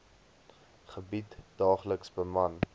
gebied daagliks beman